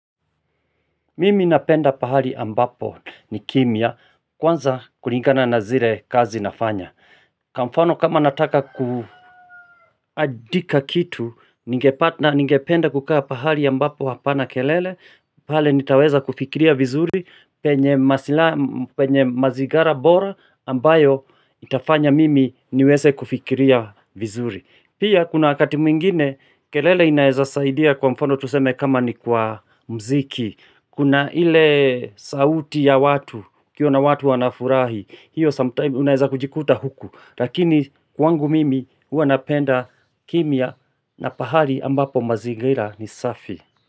Mimi napenda pahali ambapo ni kimya kwanza kulingana na zile kazi nafanya Kwa mfano kama nataka kuandika kitu Ningependa kukaa pahali ambapo hapana kelele pahali nitaweza kufikiria vizuri penye mazingira bora ambayo itafanya mimi niweze kufikiria vizuri Pia kuna wakati mwingine kelele inaeza saidia kwa mfano tuseme kama ni kwa mziki Kuna ile sauti ya watu, ukiona watu wanafurahi, hiyo ''sometime'' unaeza kujikuta huku Lakini kwangu mimi huwa napenda kimya na pahali ambapo mazingira ni safi.